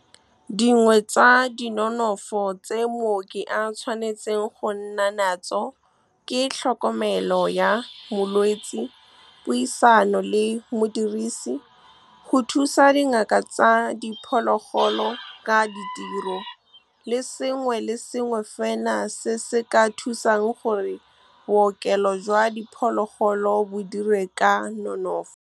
Dingwe tsa dinonofo tse mooki a tshwanetseng go nna natso ke tlhokomelo ya molwetse, puisano le modirisi, go thusa dingaka tsa diphologolo ka ditiro, le sengwe le sengwe fela se se ka thusang gore bookelo jwa diphologolo bo dire ka nonofo. Dingwe tsa dinonofo tse mooki a tshwanetseng go nna natso ke tlhokomelo ya molwetse, puisano le modirisi, go thusa dingaka tsa diphologolo ka ditiro, le sengwe le sengwe fela se se ka thusang gore bookelo jwa diphologolo bo dire ka nonofo.